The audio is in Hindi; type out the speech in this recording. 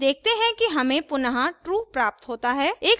हम देखते हैं कि हमें पुनः true प्राप्त होता है